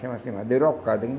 Chama-se madeira alcada.